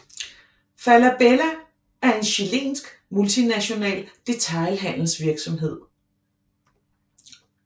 Falabella er en chilensk multinational detailhandelsvirksomhed